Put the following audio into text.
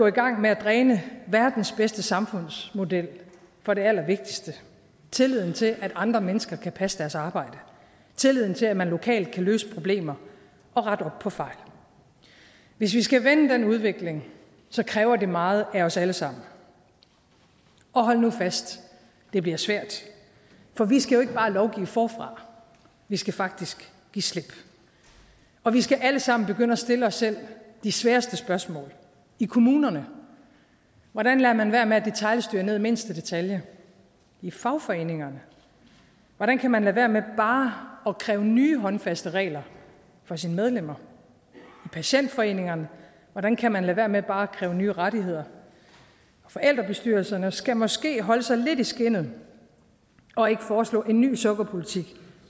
i gang med at dræne verdens bedste samfundsmodel for det allervigtigste tilliden til at andre mennesker kan passe deres arbejde tilliden til at man lokalt kan løse problemer og rette op på fejl hvis vi skal vende den udvikling kræver det meget af os alle sammen og hold nu fast det bliver svært for vi skal jo ikke bare lovgive forfra vi skal faktisk give slip og vi skal alle sammen begynde at stille os selv de sværeste spørgsmål i kommunerne hvordan lader man være med at detailstyre ned i mindste detalje i fagforeningerne hvordan kan man lade være med bare at kræve nye håndfaste regler for sine medlemmer i patientforeningerne hvordan kan man lade være med bare at kræve nye rettigheder forældrebestyrelserne skal måske holde sig lidt i skindet og ikke foreslå en ny sukkerpolitik